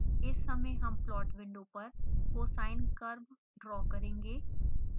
इस समय हम प्लॉट विंडो पर cosine curve ड्रा करेंगे